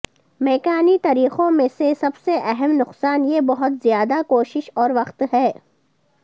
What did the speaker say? میکانی طریقوں میں سے سب سے اہم نقصان یہ بہت زیادہ کوشش اور وقت ہے